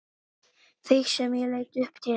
Þig sem ég leit upp til.